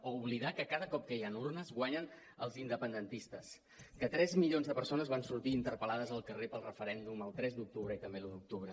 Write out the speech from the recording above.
o oblidar que cada cop que hi han urnes guanyen els independentistes que tres milions de persones van sortir interpel·lades al carrer pel referèndum el tres d’octubre i també l’un d’octubre